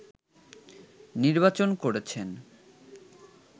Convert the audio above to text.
নির্বাচন করেছেন